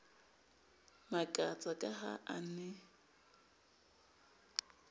makatsa ka ha ba ne